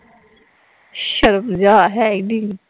ਸ਼ਰਮ ਹਿਯਾ ਹੈ ਈ ਨੀ